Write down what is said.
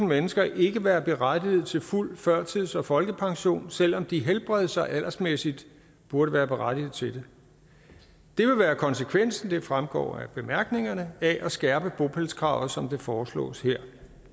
mennesker ikke være berettiget til fuld førtids og folkepension selv om de helbreds og aldersmæssigt burde være berettiget til det det vil være konsekvensen det fremgår af bemærkningerne af at skærpe bopælskravet som det foreslås her